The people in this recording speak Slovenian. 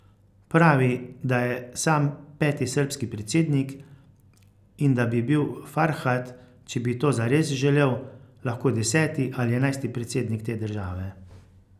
Pravi, da je sam peti srbski predsednik in da bi bil Farhad, če bi to zares želel, lahko deseti ali enajsti predsednik te države.